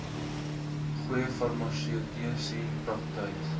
goeie farmaseutiese praktyk